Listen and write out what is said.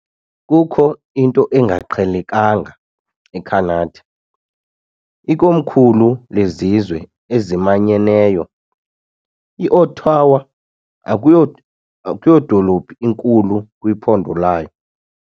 Kukho into engaqhelekanga eCanada, ikomkhulu lezizwe ezimanyeneyo, iOttawa, akuyo akuyodolophu inkulu kwiphondo layo.